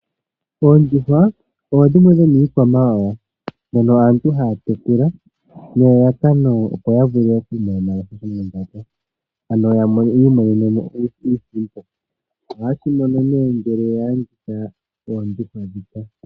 Oondjuhwa odho dhimwe dhomiikwamawawa mbyono aantu haya tekula nelalakano, opo ya vule ya mone mo shomondjato, ano ya mone mo iisimpo. Ohaye shi mono nee ngele ya landitha oondjuhwa ndhika.